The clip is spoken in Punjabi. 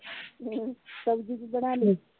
ਸਬਜ਼ੀ ਕੀ ਬਣਾਲੀ?